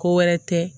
Ko wɛrɛ tɛ